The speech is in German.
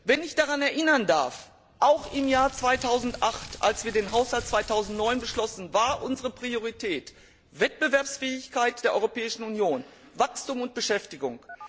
Wenn ich daran erinnern darf Auch im Jahr 2008, als wir den Haushalt 2009 beschlossen, waren unsere Prioritäten Wettbewerbsfähigkeit der Europäischen Union, Wachstum und Beschäftigung.